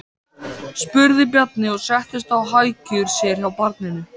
spurði Bjarni og settist á hækjur sér hjá barninu.